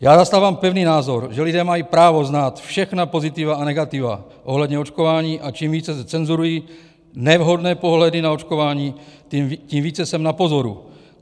Já zastávám pevný názor, že lidé mají právo znát všechny pozitiva a negativa ohledně očkování, a čím více se cenzurují nevhodné pohledy na očkování, tím více jsem na pozoru.